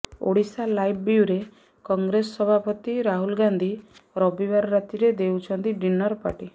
Odisha live bureau Congress ସଭାପତି ରାହୁଲ ଗାନ୍ଧି ରବିବାର ରାତିରେ ଦେଉଛନ୍ତି ଡିନର ପାର୍ଟି